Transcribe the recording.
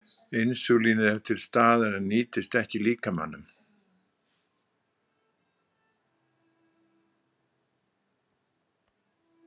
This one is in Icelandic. Insúlínið er til staðar en nýtist ekki líkamanum.